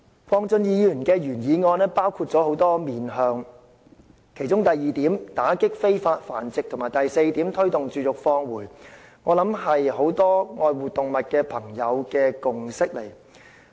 鄺俊宇議員的原議案包括很多方向，其中第二點打擊非法繁殖和第四點推動絕育放回相信是很多愛護動物的朋友的共識。